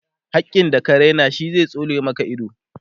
hakkin da ka Raina shi zai tsole Maka ido